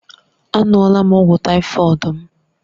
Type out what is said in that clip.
Aṅụọal m ọgwụ tàífọ̀d m